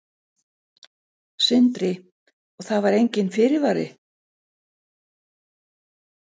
Sindri: Og það var enginn fyrirvari?